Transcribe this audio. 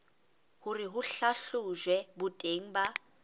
hore ho hlahlojwe boteng ba